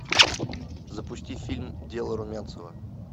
запусти фильм дело румянцева